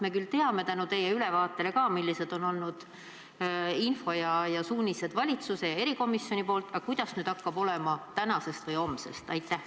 Me küll teame tänu ka teie ülevaatele, millised on olnud info ja suunised valitsuse ja erikomisjoni poolt, aga kuidas hakkab olema tänasest või homsest?